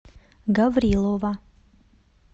гаврилова